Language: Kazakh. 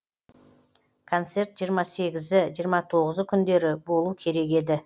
концерт жиырма сегізі жиырма тоғызы күндері болу керек еді